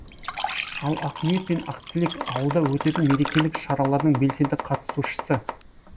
ал ақниет пен ақтілек ауылда өтетін мерекелік шаралардың белсенді қатысушы